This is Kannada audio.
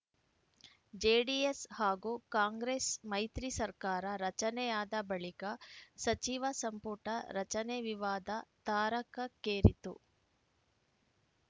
ಜೆಡಿಎಸ್‌ ಹಾಗೂ ಕಾಂಗ್ರೆಸ್‌ ಮೈತ್ರಿ ಸರ್ಕಾರ ರಚನೆಯಾದ ಬಳಿಕ ಸಚಿವ ಸಂಪುಟ ರಚನೆ ವಿವಾದ ತಾರಕಕ್ಕೇರಿತ್ತು